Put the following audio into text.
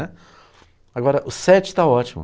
Agora, o sete está ótimo.